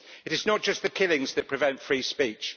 It is not just the killings that prevent free speech